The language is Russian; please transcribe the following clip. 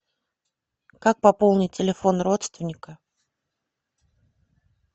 как пополнить телефон родственника